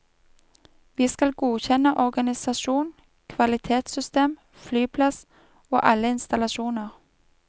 Vi skal godkjenne organisasjon, kvalitetssystem, flyplass og alle installasjoner.